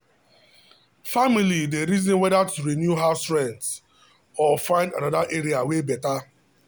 family dey reason whether to renew house rent or find another area wey better.